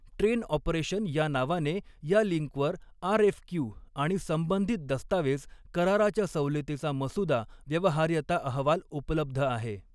Train operation या नावाने या लिंकवर आऱएफक्यू, आणि संबंधित दस्तावेज, कराराच्या सवलतीचा मसुदा, व्यवहार्यता अहवाल उपलब्ध आहे.